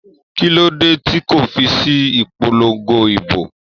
Kí ló dé tí kò fi sí ìpolongo ìdìbò?